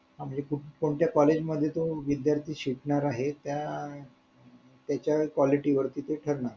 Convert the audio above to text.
म्हणजे कोणत्या college मध्ये तो विध्यार्थी शिकणार आहे त्या त्याचा quality वर ठरणार